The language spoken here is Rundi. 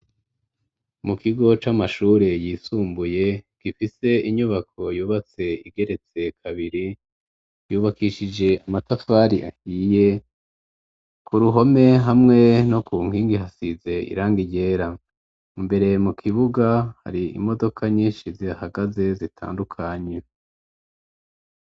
Mu kigo c'amashure yisumbuye gifise inyubako yubatse igeretse kabiri yubakishije amatafari ahiye ku ruhome hamwe no ku nkingi hasize irangi ryera imbere mu kibuga hari imodoka nyishi zihagaze zitandukanye.